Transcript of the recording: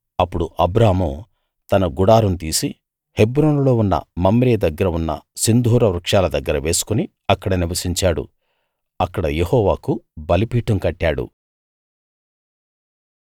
అప్పుడు అబ్రాము తన గుడారం తీసి హెబ్రోనులో ఉన్న మమ్రే దగ్గర ఉన్న సింధూర వృక్షాల దగ్గర వేసుకుని అక్కడ నివసించాడు అక్కడ యెహోవాకు బలిపీఠం కట్టాడు